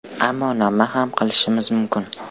Ammo nima ham qilishimiz mumkin?